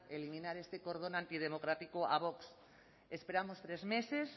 eliminar este cordón antidemocrático a vox esperamos tres meses